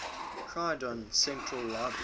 croydon central library